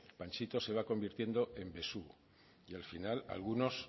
panchito se va convirtiendo en besugo y al final algunos